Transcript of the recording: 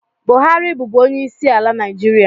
Buhari bụbụ onye isiala naijiria